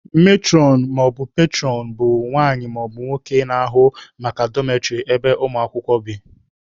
Metụrọn/petụrọn bụ nwanyị/nwoke na-ahụ maka dọmetrị ebe ụmụ akwụkwọ bi.